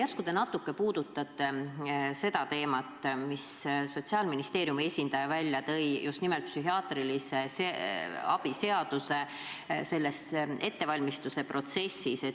Järsku te natuke puudutate seda teemat, mille Sotsiaalministeeriumi esindaja tõi välja just nimelt psühhiaatrilise abi seaduse ettevalmistamise protsessis.